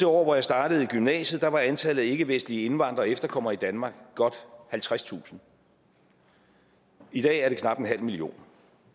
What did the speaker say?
år hvor jeg startede i gymnasiet der var antallet af ikkevestlige indvandrere og efterkommere i danmark godt halvtredstusind og i dag er det knap en halv million